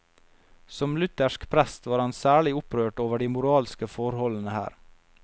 Som luthersk prest var han særlig opprørt over de moralske forholdene her.